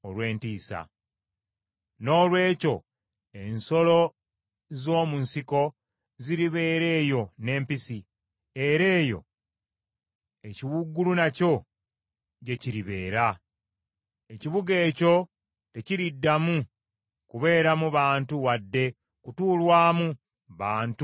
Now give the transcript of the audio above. “Noolwekyo ensolo z’omu nsiko ziribeera eyo n’empisi, era eyo ekiwuugulu nakyo gye kiribeera. Ekibuga ekyo tekiriddamu kubeeramu bantu wadde kutuulwamu bantu emirembe gyonna.